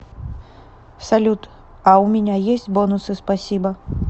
салют а у меня есть бонусы спасибо